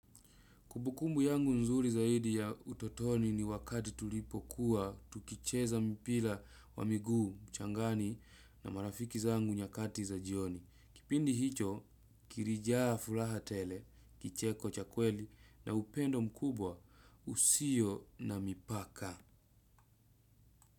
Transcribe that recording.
Kumbukumbu yangu nzuri zaidi ya utotoni ni wakati tulipo kuwa tukicheza mpira wa miguu, mchangani na marafiki zangu nyakati za jioni. Kipindi hicho, kilijaa furaha tele, kicheko cha kweli na upendo mkubwa usio na mipaka.